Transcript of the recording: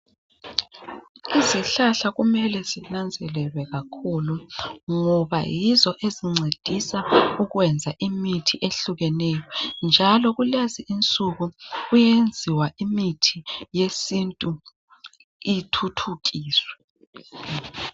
Izihlahla kumele zinanzelelwe kakhulu ngoba yizo ezincedisa ukwenza imithi ehlukeneyo njalo kulezi insuku kuyenziwa imithi yesintu ithuthukiswe